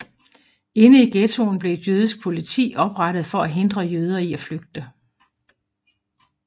Inde i ghettoen blev et jødisk politi oprettet for at hindre jøder i at flygte